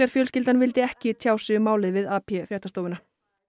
fjölskyldan vildi ekki tjá sig um málið við fréttastofuna